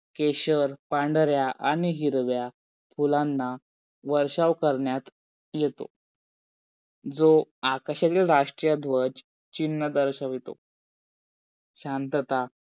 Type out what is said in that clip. केशर, पांढरा आणि हिरवा फुलांना वर्षाव करण्यात येतो. जो आकाशातील राष्ट्रध्वज चिन्ह दर्शवितो. शांतता